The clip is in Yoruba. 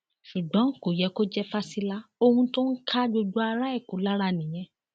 ṣùgbọn kò yẹ kó jẹ fásilà ohun tó ń ká gbogbo ará èkó lára nìyẹn